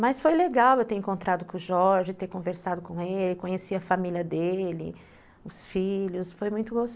Mas foi legal eu ter encontrado com o Jorge, ter conversado com ele, conheci a família dele, os filhos, foi muito gosto